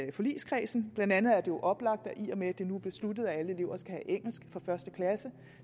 i forligskredsen blandt andet er det jo oplagt at i og med at det nu er besluttet at alle elever skal have engelsk fra første klasse